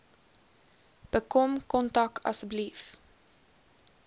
bekom kontak asseblief